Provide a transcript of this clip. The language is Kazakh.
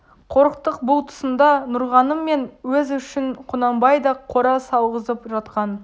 қорықтық бұл тұсында нұрғаным мен өзі үшін құнанбай да қора салғызып жатқан